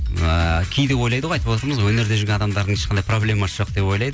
ыыы кейде ойлайды ғой айтып отырмыз ғой өнерде жүрген адамдардың ешқандай проблемасы жоқ деп ойлайды